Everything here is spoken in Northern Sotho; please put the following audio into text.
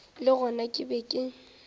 le gona ke be ke